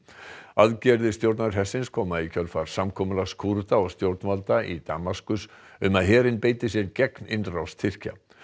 aðgerðir stjórnarhersins koma í kjölfar samkomulags Kúrda og stjórnvalda í Damaskus um að herinn beiti sér gegn innrás Tyrkja